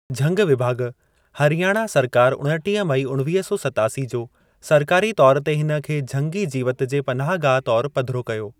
झंगु विभाॻु, हरियाणा सरकार उणटीह मई उणवीह सौ सत्तासी जो सरकारी तौरु ते हिन खे झंगी जीवति जे पनाह गाह तौरु पधिरो कयो।